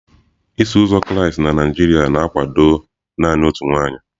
Iso uzọ Kraịst na Naijiria na-akwado naanị otu nwaanyị.